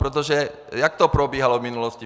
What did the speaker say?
Protože jak to probíhalo v minulosti?